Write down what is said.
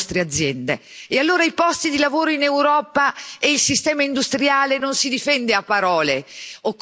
E allora i posti di lavoro in Europa e il sistema industriale non si difendono a parole, occorrono i fatti.